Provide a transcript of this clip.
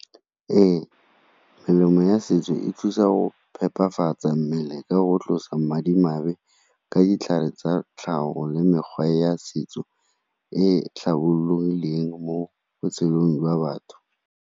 Ee, melemo ya setso e thusa go phephafatsa mmele ka go tlosa madimabe ka ditlhare tsa tlhago le mekgwa ya setso e tlhabologileng mo botshelong jwa batho.